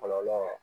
Kɔlɔlɔ